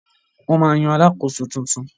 Wọ́n ma yan Alakoso tuntun